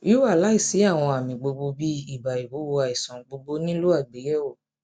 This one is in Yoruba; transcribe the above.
wíwà láìsí àwọn àmì gbogbogbò bíi ibà ìwúwo àìsàn gbogbogbò nílò àgbéyẹwò